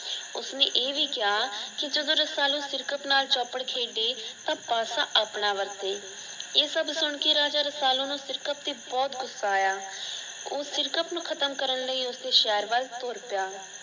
ਉਸਨੇ ਇਹ ਭੀ ਕਿਆ ਕਿ ਜਦੋਂ ਰਸਾਲੂ ਸਿਰਕਤ ਨਾਲ਼ ਚੌਪੜ ਖੇਡੇ ਤਾਂ ਪਾਸਾ ਆਪਣਾ ਵਰਤੇ। ਇਹ ਸਭ ਸੁਣ ਕੇ ਰਾਜਾ ਰਸਾਲੂ ਨੂੰ ਸਿਰਕਤ ਤੇ ਬਹੁਤ ਗੁੱਸਾ ਆਇਆ। ਉਹ ਸਿਰਕਤ ਨੂੰ ਖ਼ਤਮ ਕਰਨ ਲਈ ਉਸਦੇ ਸਹਰ ਬਲ ਤੂਰ ਪਿਆ।